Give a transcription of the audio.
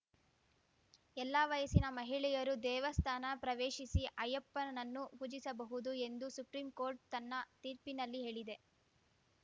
ಎಲ್ಲಾ ವಯಸ್ಸಿನ ಮಹಿಳೆಯರೂ ದೇವಸ್ಥಾನ ಪ್ರವೇಶಿಸಿ ಅಯ್ಯಪ್ಪನನ್ನು ಪೂಜಿಸಬಹುದು ಎಂದು ಸುಪ್ರೀಂಕೋರ್ಟ್‌ ತನ್ನ ತೀರ್ಪಿನಲ್ಲಿ ಹೇಳಿದೆ